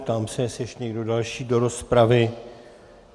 Ptám se, jestli ještě někdo další do rozpravy.